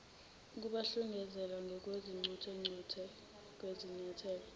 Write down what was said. ukubahlinzekela ngochungechunge lwezinyathelo